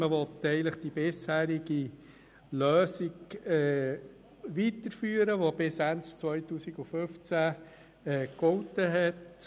Man will damit die bisherige Lösung vielleicht weiterführen, die bis Ende 2015 gegolten hat.